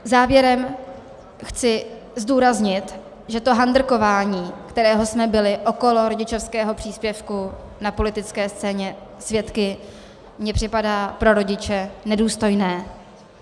Závěrem chci zdůraznit, že to handrkování, kterého jsme byli okolo rodičovského příspěvku na politické scéně svědky, mně připadá pro rodiče nedůstojné.